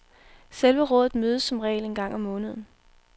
Selve rådet mødes som regel en gang om måneden.